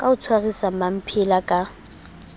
ka o tshwarisa mmamphele ka